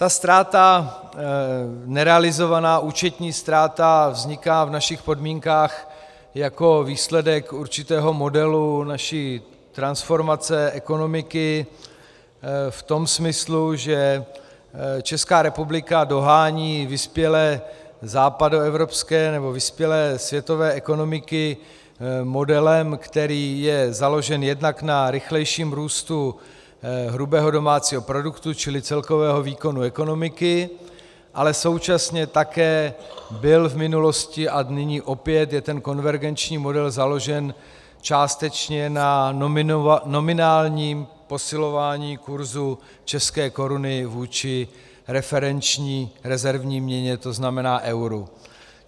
Ta ztráta, nerealizovaná účetní ztráta vzniká v našich podmínkách jako výsledek určitého modelu naší transformace ekonomiky v tom smyslu, že Česká republika dohání vyspělé západoevropské nebo vyspělé světové ekonomiky modelem, který je založen jednak na rychlejším růstu hrubého domácího produktu, čili celkového výkonu ekonomiky, ale současně také byl v minulosti a nyní opět je ten konvergenční model založen částečně na nominálním posilování kurzu české koruny vůči referenční rezervní měně, to znamená euru.